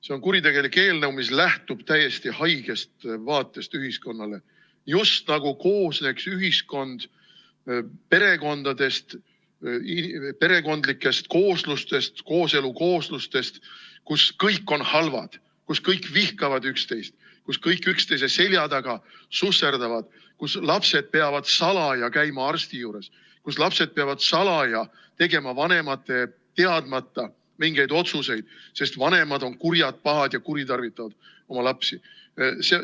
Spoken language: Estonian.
See on kuritegelik eelnõu, mis lähtub täiesti haigest vaatest ühiskonnale, just nagu koosneks ühiskond sellistest perekondlikest kooslustest, kooselu kooslustest, kus kõik on halvad, kus kõik vihkavad üksteist, kus kõik üksteise selja taga susserdavad, kus lapsed peavad salaja käima arsti juures, kus lapsed peavad salaja tegema vanemate teadmata mingeid otsuseid, sest vanemad on kurjad, pahad ja kuritarvitavad oma lapsi.